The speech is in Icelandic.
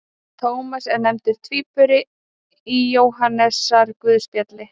Tómas er nefndur tvíburi í Jóhannesarguðspjalli.